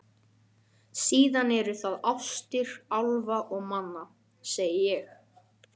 Síðan eru það ástir álfa og manna, segi ég.